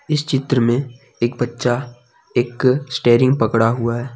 इस चित्र में एक बच्चा एक स्टेरिंग पकड़ा हुआ है।